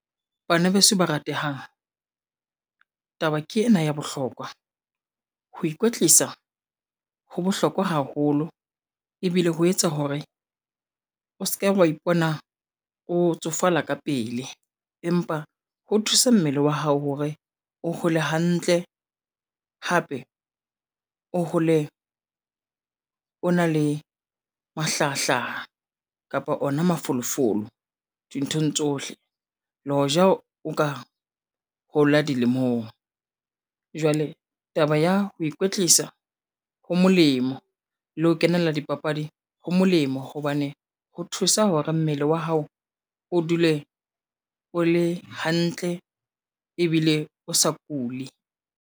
Bana beso ba ratehang, taba ke ena ya bohlokwa, ho ikwetlisa ho bohlokwa haholo ebile ho etsa hore o seke wa ipona o tsofala ka pele, empa ho thusa mmele wa hao hore o hole hantle hape o hole o na le mahlahahlaha kapa ona mafolofolo dinthong tsohle. Le hoja o ka hola dilemong jwale taba ya ho ikwetlisa, ho molemo le ho kenela dipapadi ho molemo hobane ho thusa hore mmele wa hao o dule o le hantle ebile o sa kule.